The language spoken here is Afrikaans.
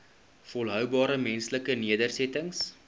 volhoubare menslike nedersettings